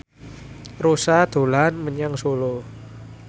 Rossa dolan menyang Solo